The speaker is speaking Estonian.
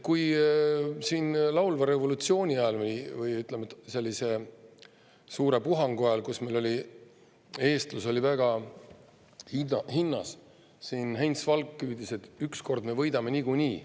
Laulva revolutsiooni ajal, või ütleme, selle suure puhangu ajal, kui meil oli eestlus väga hinnas, Heinz Valk hüüdis, et ükskord me võidame niikuinii.